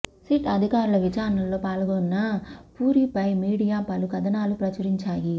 SIT అధికారుల విచారణలో పాల్గొన్న పూరి పై మీడియా పలు కథనాలు ప్రచురించాయి